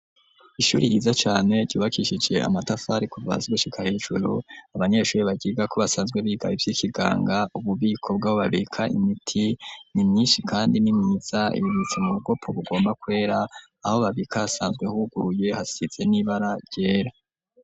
Ishuri yiza cane ryubakishije amatafari kuva Hasi gushika hejuru abanyeshuri baryiga ko basanzwe biga ivy'ikiganga, ububiko bwabo babika imiti nimyishi ,kandi nimyiza ibibitse mu bikopo bugomba kwera, aho babika hasanzwe huguruye hasize n'ibara ryera.